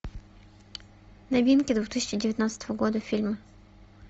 новинки две тысячи девятнадцатого года фильмы